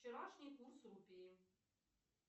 вчерашний курс рупии